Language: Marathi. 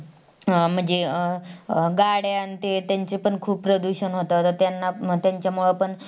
अह म्हणजे अं गाड्यान तेंचे पण खूप प्रदूषण होतात त्यांना त्यांच्यामुळेपण